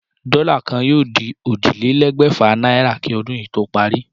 Dó̩là kan yóò di ójìlélé̩gbè̩fà náírà kí o̩dún yìí tó parí